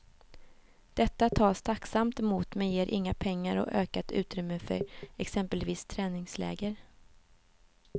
Detta tas tacksamt emot men ger inga pengar och ökat utrymme för exempelvis träningsläger.